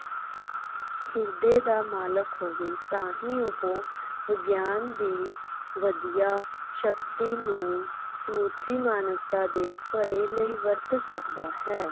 ਹਿਰਦੇ ਦਾ ਮਲਿਕ ਹੋਵੇ ਤਾ ਹੀ ਉਹ ਵਿਗਿਆਨ ਦੀ ਵਧੀਆ ਸ਼ਕਤੀ ਨੂੰ ਸਮੁੱਚੀ ਮਾਨਵਤਾ ਦੇ ਭਲੇ ਲਈ ਵਰਤ ਸਕਦਾ ਹੈ